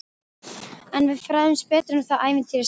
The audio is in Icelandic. En við fræðumst betur um það ævintýri seinna.